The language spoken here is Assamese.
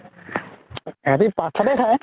সেহেতি পাত চাতে খায় ।